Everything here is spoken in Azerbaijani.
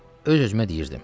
Öz-özümə deyirdim.